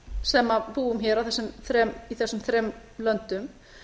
sem búum hér í þessum þremur löndum